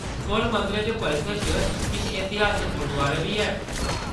स्वर्ण मंदरै दे परिसर च किश इतिहासक गुरदुआरे बी हैन।